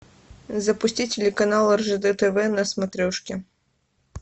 запусти телеканал ржд тв на смотрешке